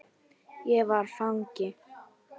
Ég var fangi.